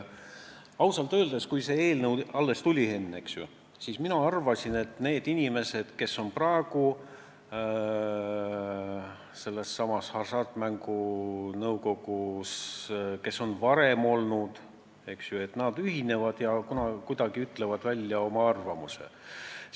Ausalt öeldes, kui see eelnõu meile laekus, Henn, siis mina arvasin, et need inimesed, kes on praegu Hasartmängumaksu Nõukogus või kes on seal varem olnud, kuidagi ütlevad välja oma arvamuse.